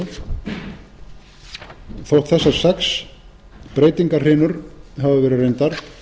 sinnum þótt þessar sex breytingahrinur hafi verið reyndar